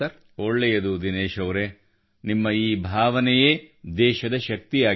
ಒಳ್ಳೆಯದು ದಿನೇಶ್ ಅವರೆ ನಿಮ್ಮ ಈ ಭಾವನೆಯೇ ದೇಶದ ಶಕ್ತಿಯಾಗಿದೆ